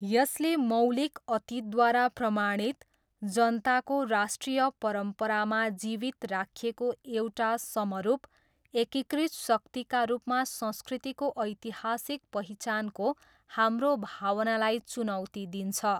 यसले मौलिक अतीतद्वारा प्रमाणित, जनताको राष्ट्रिय परम्परामा जीवित राखिएको एउटा समरूप, एकीकृत शक्तिका रूपमा संस्कृतिको ऐतिहासिक पहिचानको हाम्रो भावनालाई चुनौती दिन्छ।